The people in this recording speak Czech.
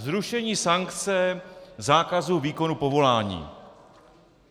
Zrušení sankce zákazu výkonu povolání.